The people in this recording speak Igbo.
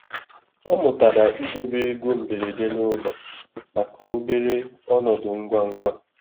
Ọ mụtara idobe ego mberede n'ụlọ maka obere ọnọdụ ngwa ngwa.